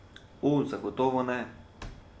O, zagotovo ne!